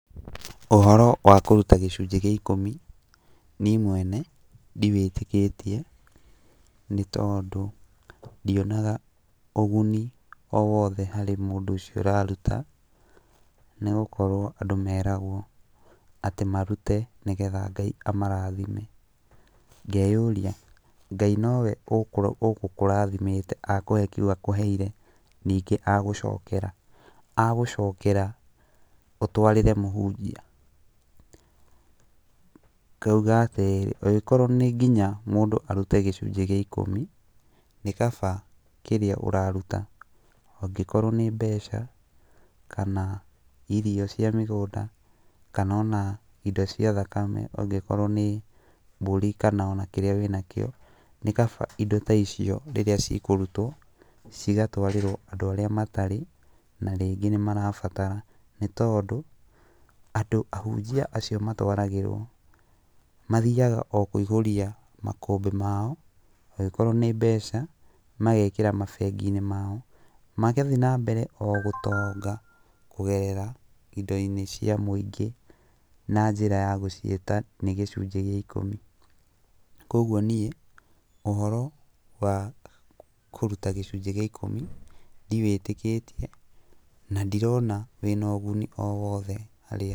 Ũhoro wa kũruta gĩcunjĩ gĩa ikũmi niĩ mwene ndiwĩtĩkĩtie nĩtondũ ndionaga ũguni o wothe harĩ mũndũ ũcio ũraruta, nĩgũkorwo andũ meragwo atĩ marute nĩgetha Ngai amarathime. Ngeyũria Ngai nowe ũgũkarithimĩte akũhe kĩu akũheire nigngĩ agũcokera? Agũcokeera ũtwarĩre mũhunjia? Ngauga atĩrĩrĩ, angĩkorwo nĩ nginya mũndũ arute gĩcunjĩ gĩa ikũmi, nĩkaba kĩrĩa ũraruta angĩkorwo nĩ mbeca kana irio cia mĩgũnda, kana ona indo cia thakame angĩkorwo nĩ mbũri kana ona kĩrĩa wĩnakĩo, nĩ kaba indo ta icio rĩrĩa cikũrutwo, cigatwarĩrwo andũ arĩa matarĩ na rĩngĩ nĩmarabatara, nĩtondũ andũ ahunjia acio matwaragĩrwo mathiaga o kũihũria makũmbĩ mao, angĩkorwo nĩ mbeca magekĩra mabengi-inĩ mao. Magathiĩ na mbere o gũtonga kũgerera indo-inĩ cia mũingĩ, na njĩra ya gũciĩta nĩ gĩcunjĩ gĩa ikũmi. Kuoguo niĩ ũhoro wa kũruta gĩcunjĩ gĩa ikũmi ndiwĩtĩkĩtie na ndirona wĩna ũguni o wothe harĩ